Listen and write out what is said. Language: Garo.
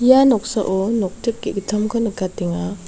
ia noksao noktip ge·gittamko nikatenga.